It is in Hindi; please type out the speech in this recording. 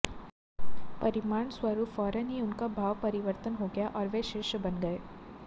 परिणामस्वरूप फौरन ही उनका भाव परिवर्तन हो गया और वे शिष्य बन गए